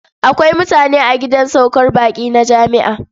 Akwai mutane a gidan saukar baƙi na jami'a.